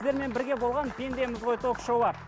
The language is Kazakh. сіздермен бірге болған пендеміз ғой ток шоуы